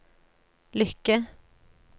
lykke